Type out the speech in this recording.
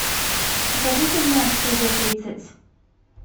покажи фильмец студия тридцать